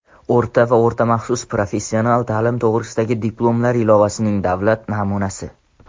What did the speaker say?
o‘rta va o‘rta maxsus professional ta’lim to‘g‘risidagi diplomlar ilovasining davlat namunasi;.